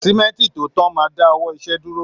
Símẹ́ǹtì tó tán máa dá ọwọ́ iṣẹ dúró